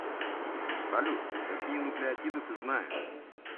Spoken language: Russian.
салют какие нуклеотиды ты знаешь